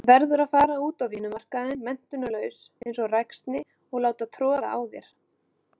Verður að fara út á vinnumarkaðinn menntunarlaus einsog ræksni og láta troða á þér.